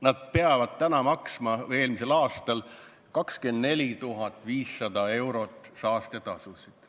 Need ettevõtted pidid eelmisel aastal maksma 24 500 eurot saastetasusid.